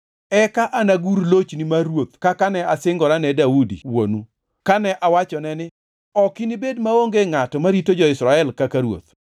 eka anagur lochni mar ruoth kaka ne asingorane Daudi wuonu, kane awachone ni, ‘Ok inibed maonge ngʼato marito jo-Israel kaka ruoth.’